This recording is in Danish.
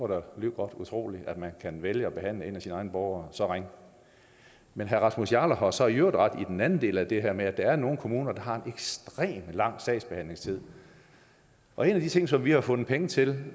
dog lige godt utroligt at man kan vælge at behandle en af sine egne borgere så ringe men herre rasmus jarlov har jo så i øvrigt ret i den anden del af det her med at der er nogle kommuner der har en ekstremt lang sagsbehandlingstid og en af de ting som vi har fundet penge til